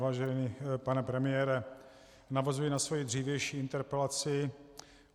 Vážený pane premiére, navazuji na svoji dřívější interpelaci.